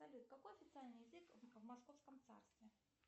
салют какой официальный язык в московском царстве